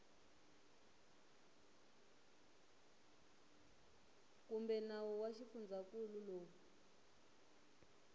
kumbe nawu wa xifundzankulu lowu